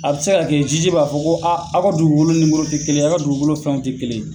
A bɛ se ka kɛ jiji b'a fɔ ko a ka dugukolo nimero tɛ kelen ye, a ka dugukolo fɛnw tɛ kelen ye.